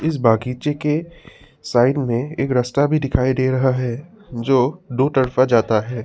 इस बागीचे के साइड में एक रास्ता भी दिखाई दे रहा है जो दो तरफा जाता है।